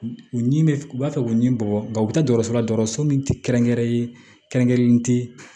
U ɲimi bɛ u b'a fɛ k'u ni bɔgɔ u bɛ taa dɔgɔtɔrɔso la dɔgɔtɔrɔso min tɛ kɛrɛnkɛrɛnnen kɛrɛnkɛrɛnnen te